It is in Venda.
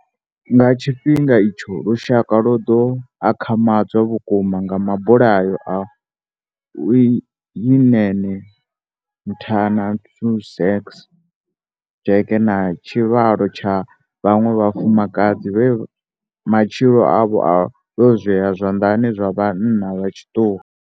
Nga tshifhinga itsho, lushaka lwo ḓo akhamadzwa vhukuma nga mabulayo a Uyinene Mrwetyana, Leighandre Jegels, Jesse Hess na tshivhalo tsha vhaṅwe vhafumakadzi vhe matshilo avho a lwozwea zwanḓani zwa vhanna vha tshiṱuhu.